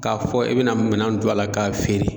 K'a fɔ i bɛna minan don a la k'a feere